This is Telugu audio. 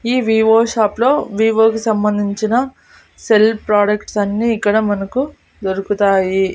ఈ వివో షాప్ లో వివో కి సంబంధించిన సెల్ ప్రోడక్ట్స్ అన్ని ఇక్కడ మనకు దొరుకుతాయి.